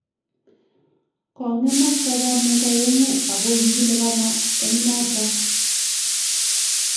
" Kong'emak sabanwek aeng'u ago kigilibana eng' noto